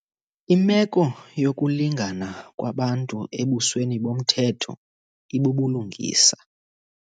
Imeko yokulingana kwabantu ebusweni bomthetho ibubulungisa.